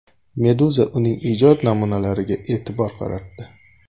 Meduza uning ijod namunalariga e’tibor qaratdi .